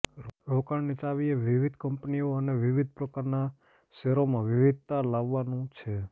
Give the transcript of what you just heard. રોકાણની ચાવી એ વિવિધ કંપનીઓ અને વિવિધ પ્રકારનાં શેરોમાં વિવિધતા લાવવાનું છે